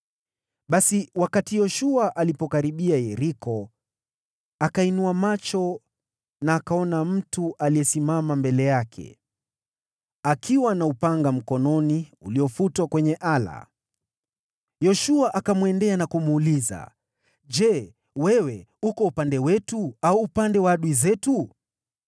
Basi wakati Yoshua alipokuwa karibu na Yeriko, akainua macho, akaona mtu aliyesimama mbele yake, akiwa na upanga mkononi uliofutwa kwenye ala. Yoshua akamwendea na kumuuliza, “Je, wewe uko upande wetu au upande wa adui zetu?”